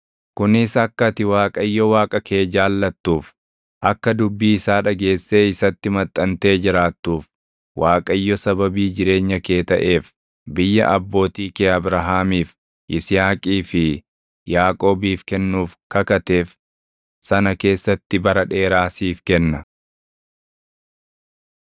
kunis akka ati Waaqayyo Waaqa kee jaallatuuf, akka dubbii isaa dhageessee isatti maxxantee jiraattuuf. Waaqayyo sababii jireenya kee taʼeef, biyya abbootii kee Abrahaamiif, Yisihaaqii fi Yaaqoobiif kennuuf kakateef sana keessatti bara dheeraa siif kenna.